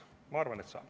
Ma arvan, et saab.